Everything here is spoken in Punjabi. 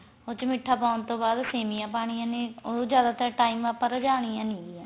ਉਸ ਚ ਮੀਠਾ ਪਾਉਣ ਤੋਂ ਬਾਅਦ ਸੇਮੀਆਂ ਪਾਉਣੀਆਂ ਨੇ ਉਹ ਨੂੰ ਜਿਆਦਾ ਤਰ time ਆਪਾਂ ਰ੍ਜਾਣੀਆਂ ਨੀਂ ਹੈਗੀਆਂ